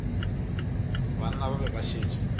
banna ba be ba šetše